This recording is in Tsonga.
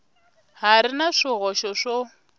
ha ri na swihoxo swo